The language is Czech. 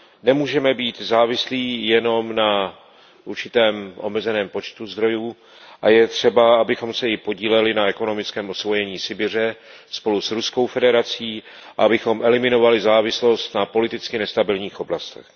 Nemůžeme být závislí jenom na určitém omezeném počtu zdrojů a je třeba, abychom se i podíleli na ekonomickém osvojení Sibiře spolu s Ruskou federací a abychom eliminovali závislost na politicky nestabilních oblastech.